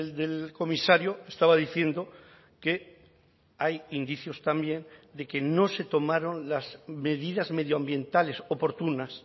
del comisario estaba diciendo que hay indicios también de que no se tomaron las medidas medioambientales oportunas